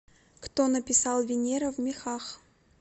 кто написал венера в мехах